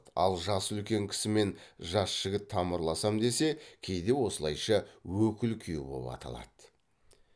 ал жасы үлкен кісімен жас жігіт тамырласам десе кейде осылайша өкіл күйеу боп аталады